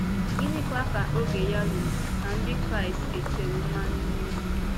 Gịnịkwa ka oge ya rụrụ ka Ndị kraịst e tere mmanụ mee?